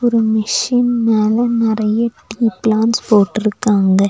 ஒரு மிஷின் மேல நெறையா டீ ப்ளான்ஸ் போட்ருக்காங்க.